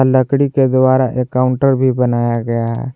लकड़ी के द्वारा काउंटर भी बनाया गया है।